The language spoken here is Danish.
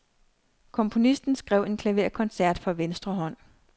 Komponisten skrev en klaverkoncert for venstre hånd.